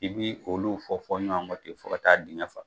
I bi olu fɔ fɔ ɲɔgɔn kɔ ten fo ka taa digɛn fa.